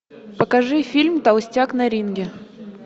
покажи фильм толстяк на ринге